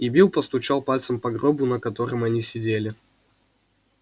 и билл постучал пальцем по гробу на котором они сидели